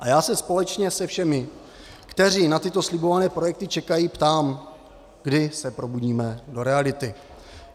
A já se společně se všemi, kteří na tyto slibované projekty čekají, ptám, kdy se probudíme do reality.